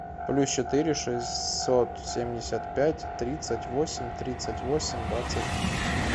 плюс четыре шестьсот семьдесят пять тридцать восемь тридцать восемь двадцать три